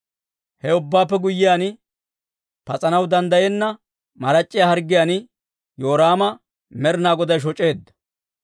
He ubbaappe guyyiyaan, pas'anaw danddayenna marac'c'iyaa harggiyaan Yoraama Med'inaa Goday shoc'eedda.